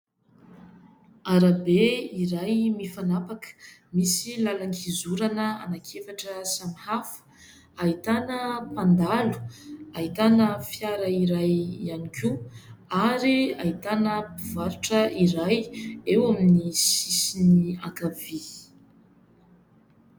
Arabe iray mifanapaka misy làlan-kizorana anankiefatra samihafa, ahitana mpandalo, ahitana fiara iray ihany koa ary ahitana mpivarotra iray eo amin'ny sisiny ankavia.